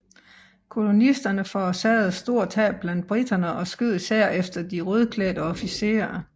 Kolonisterne forårsagede store tab blandt briterne og skød især efter de rødklædte officerer